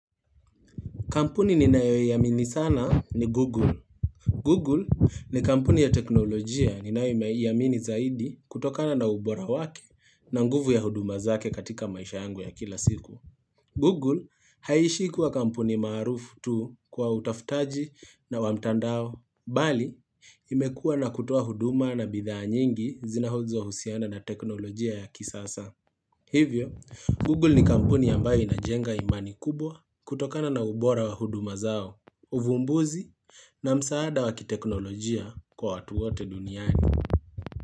Kampuni ninayo iamini sana ni Google. Google ni kampuni ya teknolojia ninayo iamini zaidi kutokana na ubora wake na nguvu ya huduma zake katika maisha yangu ya kila siku. Google haishi kuwa kampuni maarufu tu kwa utafutaji na wa mtandao. Bali, imekua la kutoa huduma na bidhaa nyingi zinazo husiana na teknolojia ya kisasa. Hivyo, Google ni kampuni ambayo inajenga imani kubwa kutokana na ubora wa huduma zao, uvumbuzi na msaada wa kiteknolojia kwa watu wote duniani.